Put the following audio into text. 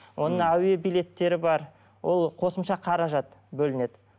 оның әуе билеттері бар ол қосымша қаражат бөлінеді